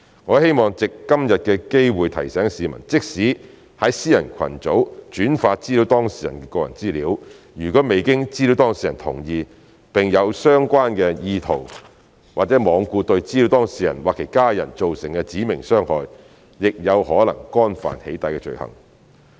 我希望藉今天的機會提醒市民，即使在私人群組轉發資料當事人的個人資料，如果未經資料當事人同意，並有相關意圖或罔顧對資料當事人或其家人造成"指明傷害"，亦有可能干犯"起底"罪行。